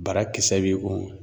Bara kisɛ bɛ o